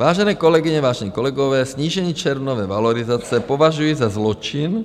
Vážené kolegyně, vážení kolegové, snížení červnové valorizace považuji za zločin